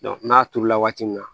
n'a turu la waati min na